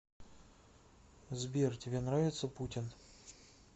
сбер тебе нравится путин